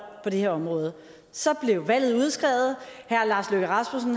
på det her område så blev valget udskrevet